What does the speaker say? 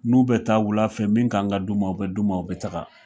N'u bɛ taa wula fɛ min k'an ka d'u ma o be d'u ma o be taga